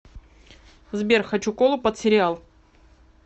сбер хочу колу под сериал